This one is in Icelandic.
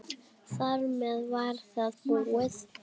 Þar með var það búið.